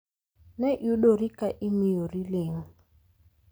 Ne iyudori ka imiyori ling